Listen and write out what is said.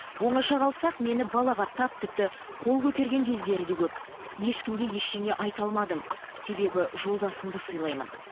оңаша қалсақ мені балағаттап тіпті қол көтерген кездері де көп ешкімге ештеңе айта алмадым себебі жолдасымды сыйлаймын